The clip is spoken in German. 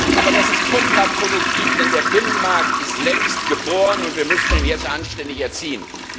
Aber das ist kontraproduktiv, denn der Binnenmarkt ist längst geboren, und wir müssen ihn jetzt anständig erziehen.